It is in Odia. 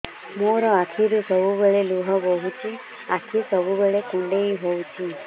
ମୋର ଆଖିରୁ ସବୁବେଳେ ଲୁହ ବୋହୁଛି ଆଖି ସବୁବେଳେ କୁଣ୍ଡେଇ ହଉଚି